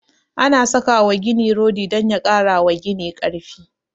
Ana saka wa gini rodi don ya kara wa gini karfi